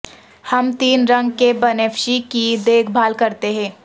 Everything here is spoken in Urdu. ہم تین رنگ کے بنفشی کی دیکھ بھال کرتے ہیں